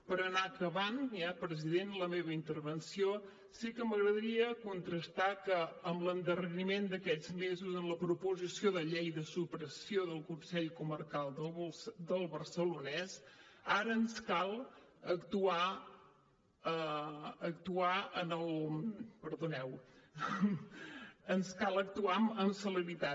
per anar acabant ja president la meva intervenció sí que m’agradaria contrastar que amb l’endarreriment d’aquests mesos en la proposició de llei de supressió del consell comarcal del barcelonès ara ens cal actuar amb celeritat